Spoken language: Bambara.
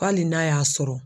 Hali n'a y'a sɔrɔ.